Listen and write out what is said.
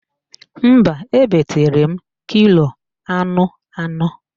Mba, ebetere m kilo anụ anọ